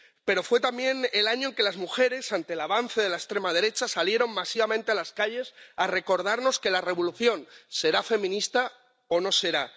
Pero fue también el año en que las mujeres, ante el avance de la extrema derecha, salieron masivamente a las calles a recordarnos que la revolución será feminista o no será.